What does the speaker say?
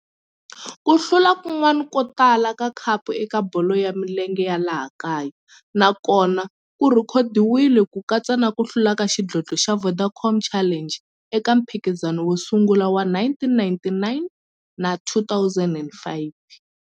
Ku hlula kun'wana ko tala ka khapu eka bolo ya milenge ya laha kaya na kona ku rhekhodiwile, ku katsa na ku hlula ka xidlodlo xa Vodacom Challenge eka mphikizano wo sungula wa 1999 na 2005.